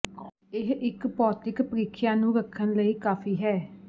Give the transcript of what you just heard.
ਇਹ ਇੱਕ ਭੌਤਿਕ ਪ੍ਰੀਖਿਆ ਨੂੰ ਰੱਖਣ ਲਈ ਕਾਫ਼ੀ ਹੈ